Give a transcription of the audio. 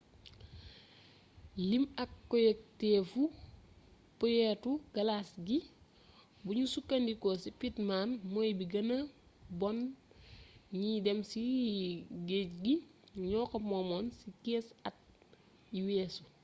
lim ak koyogteefu boyetu galas gi buñu sukkandiko ci pittman mooy bi gëna bon ñiy dém ci géej gi ñoo ko moomoon ci 15 at yi weesu